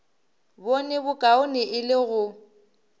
bone bokaone e le go